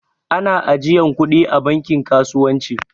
Ana ajiyan kuɗi a banki kasuwanci